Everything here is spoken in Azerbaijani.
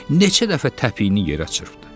Neçə dəfə təpiyini yerə çırpdı?